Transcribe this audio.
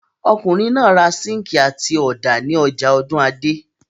Ọkùnrin náà ra síńkì àti ọ̀dà ní ọjà Ọ̀dúnadé.